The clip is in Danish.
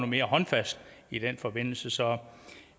mere håndfast i den forbindelse så